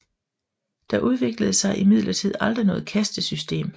Der udviklede sig imidlertid aldrig noget kastesystem